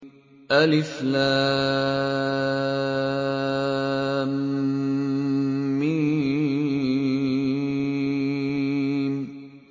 الم